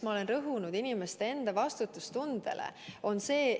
Miks ma olen rõhunud inimeste enda vastutustundele?